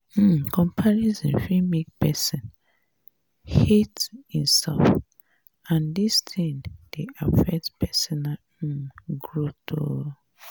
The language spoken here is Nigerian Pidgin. um comparison fit make person hate him self and and dis thing dey affect personal um growth um